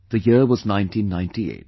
The year was 1998